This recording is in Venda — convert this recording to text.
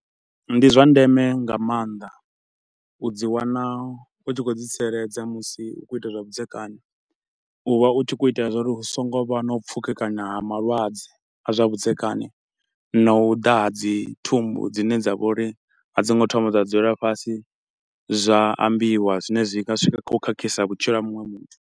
Ndi zwa ndeme nga maanḓa u dzi wana u tshi khou ḓi tsireledza musi u khou ita zwavhudzekani, u vha u tshi khou itela zwa uri hu so ngo vha na u pfukekana ha malwadze a zwa vhudzekani na u ḓa ha dzi thumbu dzine dza vha uri a dzo ngo thoma dza dzulelwa fhasi, zwa ambiwa zwine zwi nga swika kha u khakhisa vhutshilo ha muṅwe muthu.